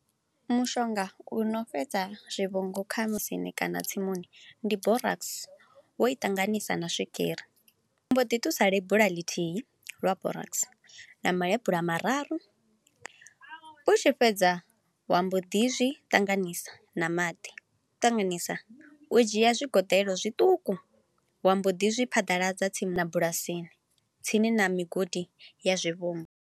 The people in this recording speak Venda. Mushonga u no fhedza zwivhungu kha musini kana tsimuni, ndi Borax wo i ṱanganisa na swigiri. Wa mbo ḓi ṱusa lebula ḽithihi lwa Borax na malebula mararu, u tshi fhedza wa mbo ḓi zwi ṱanganisa na maḓi. Ṱanganisa, u dzhia zwigoḓelo zwiṱuku wa mbo ḓi zwi phaḓaladza tsini na bulasini, tsini na migodi ya zwivhungu.